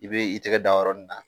I bɛ i tigɛ da yɔrɔ min na,